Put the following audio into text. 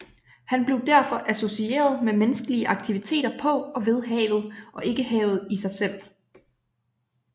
Han blev derfor associeret med menneskelige aktiviteter på og ved havet og ikke havet i sig selv